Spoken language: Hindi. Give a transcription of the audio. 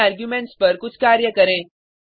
इन आर्गुमेंट्स पर कुछ कार्य करें